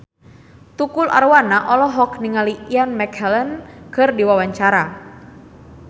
Tukul Arwana olohok ningali Ian McKellen keur diwawancara